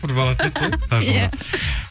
бір бала сияқты иә қажымұрат